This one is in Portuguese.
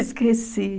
Esqueci.